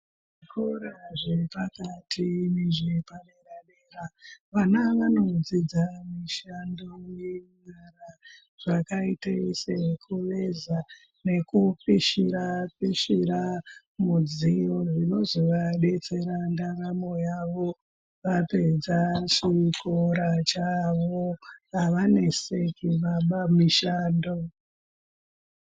Zvikora zvepakati nezvepadera dera vana vanodzidza mishando yenyara zvakaite sekuveza nekupishira pishira midziyo zvinozovadetsera ndaramo yavo vapedza chikora chavo avaneseki vaapamishando.